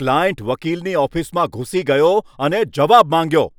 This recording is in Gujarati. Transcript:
ક્લાયન્ટ વકીલની ઓફિસમાં ઘૂસી ગયો અને જવાબ માંગ્યો!